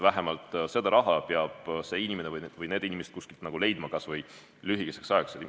Vähemalt selle raha peab see inimene või peavad need inimesed kuskilt leidma kas või lühikeseks ajaks.